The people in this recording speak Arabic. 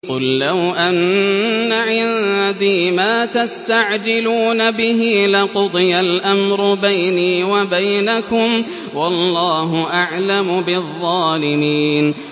قُل لَّوْ أَنَّ عِندِي مَا تَسْتَعْجِلُونَ بِهِ لَقُضِيَ الْأَمْرُ بَيْنِي وَبَيْنَكُمْ ۗ وَاللَّهُ أَعْلَمُ بِالظَّالِمِينَ